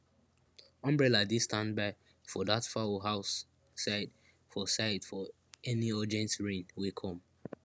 umbrella dey standby for dat fowl house side for side for any urgent rain wey come